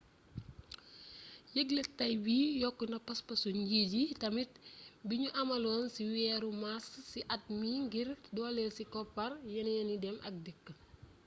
yéglék tay bi yokkona paspasu njiit yi tamit bignu amaloon ci wééru mars ci at mi ngir doolél ci koppar yénééni dém ak dikk